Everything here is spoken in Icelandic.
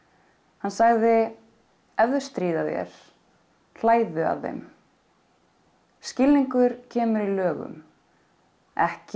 hann sagði ef þau stríða þér að þeim skilningur kemur í lögum ekki